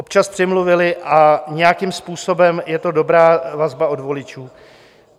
občas přimluvili a nějakým způsobem je to dobrá vazba od voličů.